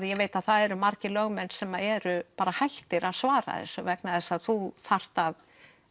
ég veit að það eru margir lögmenn sem eru hættir að svara þessu vegna þess að þú þarft að